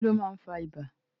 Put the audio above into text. Kílón máa n fá ìbà?